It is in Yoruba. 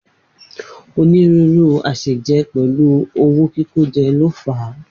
Onírúurú àsèjẹ pẹ̀lú owó kíkójẹ ló fà á.